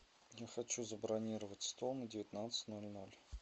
я хочу забронировать стол на девятнадцать ноль ноль